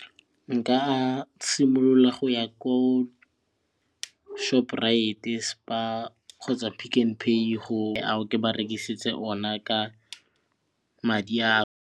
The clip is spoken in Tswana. Nka a simolola go ya ko shoprite, spar kgotsa pick n pay gore ke ba rekisetse ona ka madi a